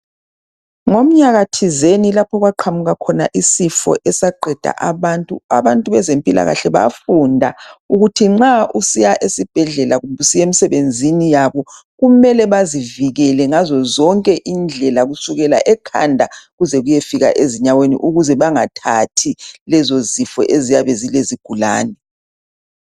Ngomnyaka thizeni lapho okwaqhamuka khona isifo esaqeda abantu, abantu bezempilakahle bafunda ukuthi nxa usiya esibhedlela kumbe usiya emsebenzin yabo kumele bazivikele ngazo zonke indlela kusukela ekhanda kusiyafika ezinyaweni ukuze bengathathi lezi ziifo eziyabe zile zigulane.